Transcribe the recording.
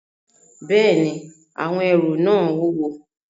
Bẹ́ẹ̀ni, àwọn ẹrù náà wúwo